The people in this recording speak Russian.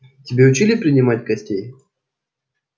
тебя учили принимать гостей